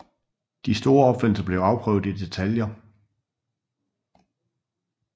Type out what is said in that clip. De store opfindelser blev afprøvet i detaljer